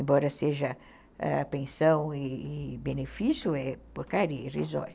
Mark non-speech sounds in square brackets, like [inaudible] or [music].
Embora seja a pensão e benefício, é porcaria [unintelligible]